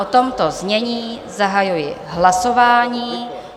O tomto znění zahajuji hlasování.